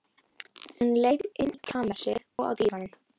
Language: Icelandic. Hún leit inn í kamersið, og á dívaninn.